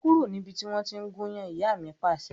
Kúrò níbi tí wọn tí ń gúnyán! Ìyá mi Pàṣẹ.